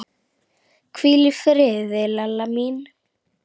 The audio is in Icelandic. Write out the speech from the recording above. Hvíl í friði, Lella mín.